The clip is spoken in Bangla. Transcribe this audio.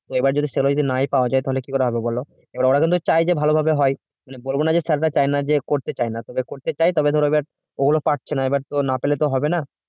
যদি সেরকম কিছু না পাওয়া যায় তাহলে কিরকম কি করে হবে বল এবার ওরা কিনতে চাই যে ভালোভাবে হয় মানে এরা চায় না যে করতে চায়না তবে করতে চায় তবে ধরো গুলো পারছে না এবার তো না পেলে তো হবেনা